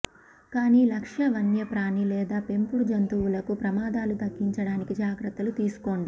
కాని లక్ష్య వన్యప్రాణి లేదా పెంపుడు జంతువులకు ప్రమాదాలు తగ్గించడానికి జాగ్రత్తలు తీసుకోండి